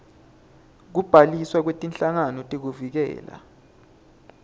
kubhaliswa kwetinhlangano tekuvikela